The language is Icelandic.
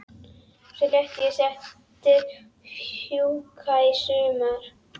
Svo lét ég settið fjúka í sumar.